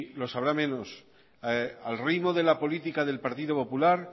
los habrá menos al ritmo de la política del partido popular